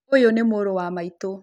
Ũyũ nĩ mũrũ wa maĩtũ.